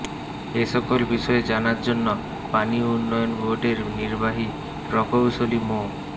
এ সকল বিষয়ে জানার জন্য পানি উন্নয়ন বোর্ডের নির্বাহী প্রকৌশলী মো